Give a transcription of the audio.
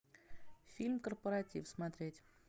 фильм корпоратив смотреть